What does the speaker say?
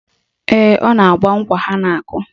Ee, ọ na-agba nkwa ha na-akụ